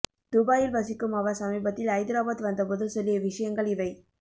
துபாயில் வசிக்கும் அவர் சமீபத்தில் ஐதராபாத் வந்தபோது சொல்லிய விசயங்கள் இவை